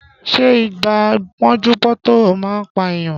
Ṣé ibà pọ́njú-pọ́ntọ̀ man pa èèyàn